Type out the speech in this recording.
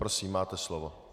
Prosím, máte slovo.